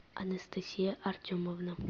анастасия артемовна